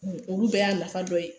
Olu bɛɛ y'a nafa dɔ ye.